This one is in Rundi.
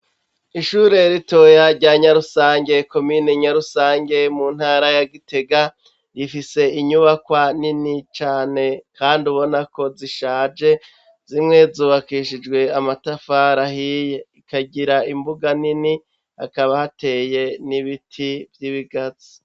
Ishure ritoya rya Nyarusange komine Nyarusange mu ntara ya Gitega rifise inyubakwa nini cane kandi ubonako zishaje, zimwe zubakishijwe amatafari ahiye zikagira imbuga nini hakaba hateye n'ibiti vyibigazi.